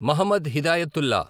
Mohammed Hidayatullah